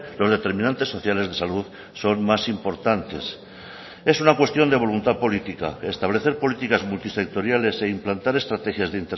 los determinantes sociales de salud son más importantes es una cuestión de voluntad política establecer políticas multisectoriales e implantar estrategias de